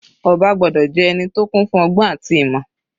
Ọba gbọ́dọ̀ jẹ́ ẹni tó kún fún ọgbọ́n àti ìmọ̀.